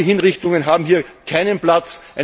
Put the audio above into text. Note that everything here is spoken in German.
Rachehinrichtungen haben hier keinen Platz.